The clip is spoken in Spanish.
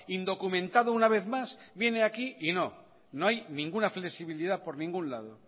indocumentado una vez más viene aquí y no no hay ninguna flexibilidad por ningún lado